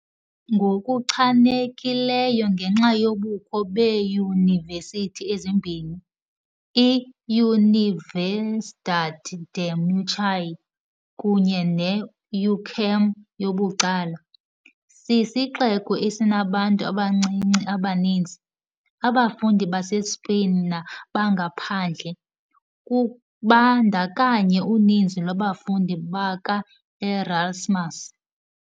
Ngokuchanekileyo ngenxa yobukho beeyunivesithi ezimbini i- "Universidad de Murcia" kunye ne- "UCAM" yabucala, sisixeko esinabantu abancinci abaninzi, abafundi baseSpain nabangaphandle, kubandakanya uninzi lwabafundi baka-Erasmus .